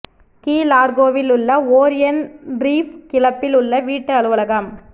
key லார்கோவில் உள்ள Orion reef கிளப்பில் உள்ள வீட்டு அலுவலகம்